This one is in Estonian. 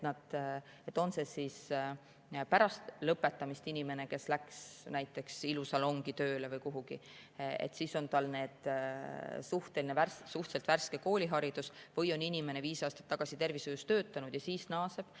Näiteks kui pärast lõpetamist läks inimene tööle ilusalongi või kuhugi, siis on tal suhteliselt värske kooliharidus, või kui inimene on viis aastat tagasi tervishoius töötanud ja siis naaseb.